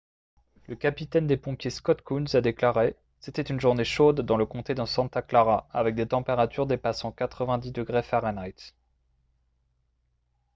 le capitaine des pompiers scott kouns a déclaré :« c’était une journée chaude dans le comté de santa clara avec des températures dépassant 90 °f